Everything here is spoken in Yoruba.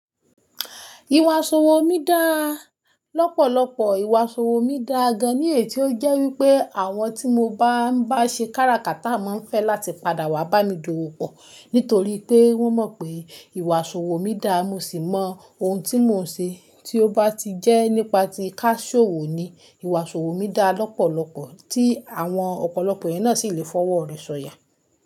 Ìwà iṣọwò mí dá lọ́pọ̀lọpọ̀. Ìwà isọwò mí dá gan ní ètí ó jẹ́ wípé àwọn tí mo bá ń bá ṣe kára kata máa ń fẹ́ láti padà wá bá mi dowò pọ̀. Nítorí pé wọ́n mọ̀ pé ìwà iṣọwò mí dá. Mo sì mọ ohun tí mò ń ṣe tí ó bá ti jẹ́ nípa tí ká ṣòwò ni. Ìwà iṣọwò mí dá lọ́pọ̀lọpọ̀ tí àwọn ọ̀pọ̀lọpọ̀ eeyan náà sì lè fọwọ́ rẹ̀ ṣanyà.